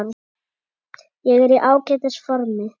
Ég er í ágætis formi.